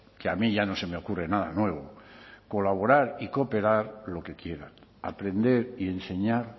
que a mí ya no se me ocurre nada nuevo colaborar y cooperar lo que quieran aprender y enseñar